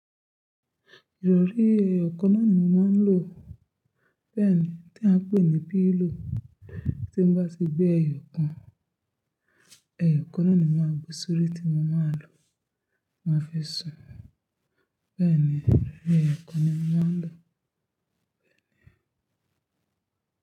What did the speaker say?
Ìrọ̀rí ẹyọ kaná ni mo máa ń lò. Bẹ́ẹ̀ ni tí a ń pè ní pillow. Tí mo bá ti gbé ẹyọ kan, ẹyọ kaná ni mo máa gbé sórí tí mo máa lò, mo máa fi sùn. Bẹ́ẹ̀ ni ìrọ̀rí ẹyọ kan ni mo máa ń lò.